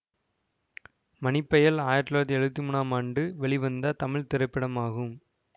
மணிப்பயல் ஆயிரத்தி தொள்ளாயிரத்தி எழுவத்தி மூனாம் ஆண்டு வெளிவந்த தமிழ் திரைப்படமாகும்